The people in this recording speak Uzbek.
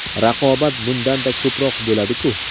Raqobat bundanda ko‘proq bo‘ladi-ku.